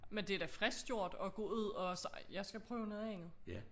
Men det da frisk gjort og gå ud og sige jeg skal prøve noget af